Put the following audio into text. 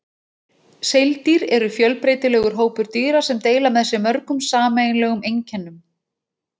Seildýr eru fjölbreytilegur hópur dýra sem deila með sér mörgum sameiginlegum einkennum.